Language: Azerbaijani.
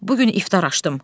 Bu gün iftar açdım.